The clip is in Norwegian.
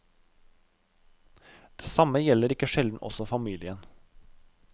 Det samme gjelder ikke sjelden også familien.